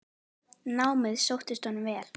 Námið sóttist honum vel.